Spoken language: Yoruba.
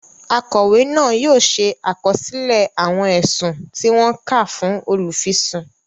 Akọwe náà yóò ṣe àkọsílẹ awọn ẹsùn tí wọn ká fún olufisun